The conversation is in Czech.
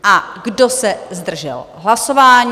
A kdo se zdržel hlasování?